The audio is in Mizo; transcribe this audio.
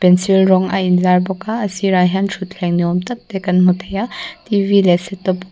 rawng a inzar bawk a a sirah hian thuthleng niawm tak te kan hmu thei a t v leh setup --